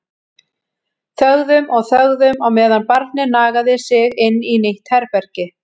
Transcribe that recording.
Þögðum og þögðum á meðan barnið nagaði sig inn í nýtt herbergi.